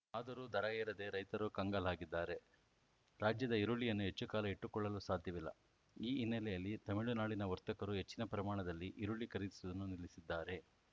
ಆದರೂ ದರ ಏರದೆ ರೈತರು ಕಂಗಾಲಾಗಿದ್ದಾರೆ ರಾಜ್ಯದ ಈರುಳ್ಳಿಯನ್ನು ಹೆಚ್ಚು ಕಾಲ ಇಟ್ಟುಕೊಳ್ಳಲು ಸಾಧ್ಯವಿಲ್ಲ ಈ ಹಿನ್ನೆಲೆಯಲ್ಲಿ ತಮಿಳುನಾಡಿನ ವರ್ತಕರು ಹೆಚ್ಚಿನ ಪ್ರಮಾಣದಲ್ಲಿ ಈರುಳ್ಳಿ ಖರೀದಿಸುವುದನ್ನು ನಿಲ್ಲಿಸಿದ್ದಾರೆ